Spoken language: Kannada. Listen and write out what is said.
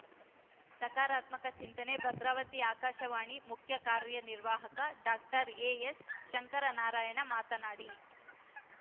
ಸಕಾರಾತ್ಮಕ ಚಿಂತನೆ ಭದ್ರಾವತಿ ಆಕಾಶವಾಣಿ ಮುಖ್ಯ ಕಾರ್ಯನಿರ್ವಾಹಕ ಡಾಕ್ಟರ್ ಎಎಸ್‌ ಶಂಕರನಾರಾಯಣ ಮಾತನಾಡಿ